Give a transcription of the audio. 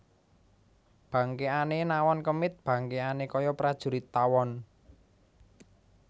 Bangkèkané nawon kemit bangkèkané kaya prajurit tawon